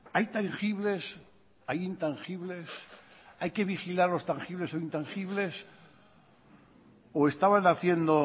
hay tangibles hay intangibles hay que vigilar los tangibles o intangibles o estaban haciendo